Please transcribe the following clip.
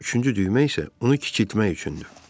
Üçüncü düymə isə onu kiçiltmək üçündür.